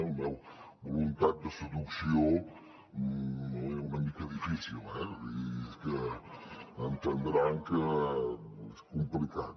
una voluntat de seducció una mica difícil eh vull dir que entendran que és complicat